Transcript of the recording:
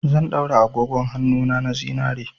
Zan daura agogon hannuna na zinare.